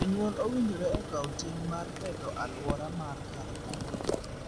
Jonyuol owinjore okaw ting' mar beto aluora mar kar dak.